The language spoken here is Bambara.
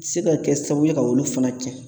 Se ka kɛ sababu ye ka olu fana cɛn